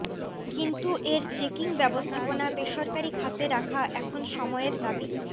কিন্তু এর চেকিং ব্যবস্থাপনা বেসরকারি খাতে রাখা এখন সময়ের দাবি